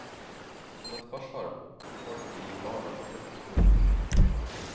Som et forsvar holdt de barna borte fra skolen.